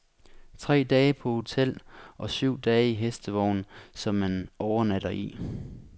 Tre dage på hotel og syv dage i hestevogn, som man overnatter i.